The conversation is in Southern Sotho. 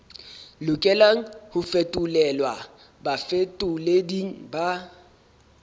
lokelang ho fetolelwa bafetoleding ba